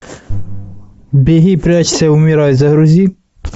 беги прячься умирай загрузи